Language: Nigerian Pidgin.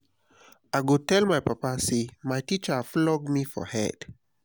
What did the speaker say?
i go tell my papa say my teacher flog me for head